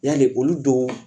Yali olu don